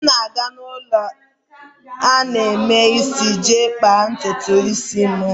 M na-aga ulo ana-eme isi iji kpaa ntutu isi m.